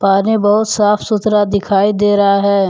पानी बहुत साफ सुथरा दिखाई दे रहा है।